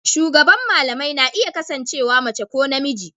Shugaban malamai na iya kasancewa mace ko namiji.